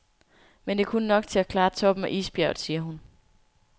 Men det er kun nok til at klare toppen af isbjerget, siger hun.